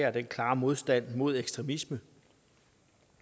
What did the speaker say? og den klare modstand mod ekstremisme